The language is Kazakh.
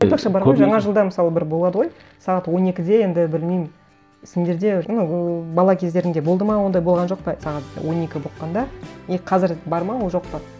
айтпақшы бар ғой жаңа жылда мысалы бір болады ғой сағат он екіде енді білмеймін сендерде ну бала кездеріңде болды ма ондай болған жоқ па сағат он екі болып қалғанда и қазір бар ма ол жоқ па